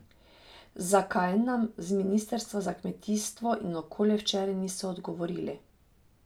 Zakaj, nam z ministrstva za kmetijstvo in okolje včeraj niso odgovorili.